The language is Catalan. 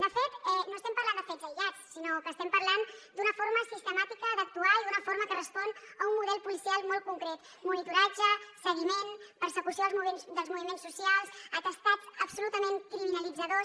de fet no estem parlant de fets aïllats sinó que estem parlant d’una forma sistemàtica d’actuar i d’una forma que respon a un model policial molt concret monitoratge seguiment persecució dels moviments socials atestats absolutament criminalitzadors